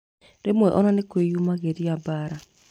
Rĩmwe ona nĩkwĩyumĩragia mbara